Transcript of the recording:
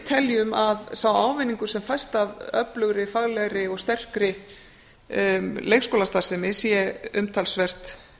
teljum að sá ávinningur sem fæst af öflugri faglegri og sterkri leikskólastarfsemi sé umtalsvert